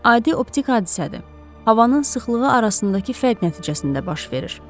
Adi optik hadisədir, havanın sıxlığı arasındakı fərq nəticəsində baş verir.